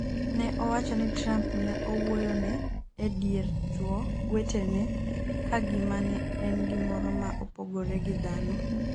ne owacho ni Trump ne owuoyo ne e dier chuwo wetene ka gima ne en gimoro ma opogore gi dhano